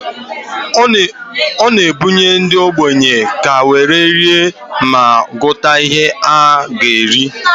Ọ na-ebunye ndị ogbenye ka were ree ma gota ihe ha ga eri.